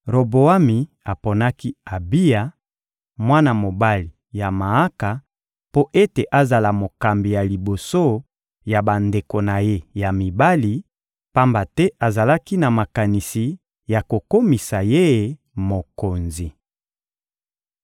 Roboami aponaki Abiya, mwana mobali ya Maaka, mpo ete azala mokambi ya liboso ya bandeko na ye ya mibali, pamba te azalaki na makanisi ya kokomisa ye mokonzi.